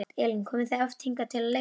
Elín: Komið þið oft hingað að leika?